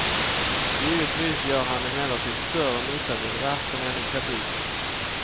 Givetvis gör han emellertid större nytta vid ratten än i kabyssen.